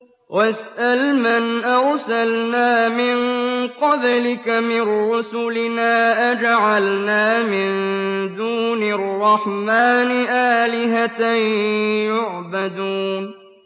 وَاسْأَلْ مَنْ أَرْسَلْنَا مِن قَبْلِكَ مِن رُّسُلِنَا أَجَعَلْنَا مِن دُونِ الرَّحْمَٰنِ آلِهَةً يُعْبَدُونَ